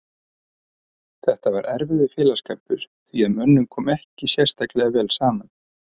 Þetta var erfiður félagsskapur því að mönnum kom ekki sérstaklega vel saman.